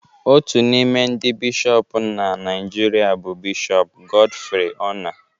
Otu n'ime ndị Bishọp na Naijiria bụ Bishọp Godfrey Onah